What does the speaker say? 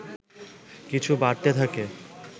কিছু বাড়তে থাকে